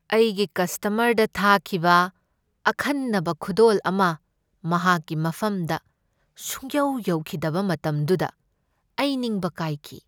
ꯑꯩꯒꯤ ꯀꯁꯇꯃꯔꯗ ꯊꯥꯈꯤꯕ ꯑꯈꯟꯅꯕ ꯈꯨꯗꯣꯜ ꯑꯃ ꯃꯍꯥꯛꯀꯤ ꯃꯐꯝꯗ ꯁꯨꯡꯌꯧ ꯌꯧꯈꯤꯗꯕ ꯃꯇꯝꯗꯨꯗ ꯑꯩ ꯅꯤꯡꯕ ꯀꯥꯏꯈꯤ꯫